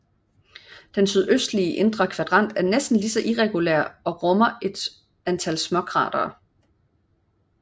Den sydøstlige indre kvadrant er næsten lige så irregulær og rummer et antal småkratere